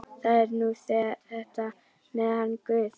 Það er nú þetta með hann guð.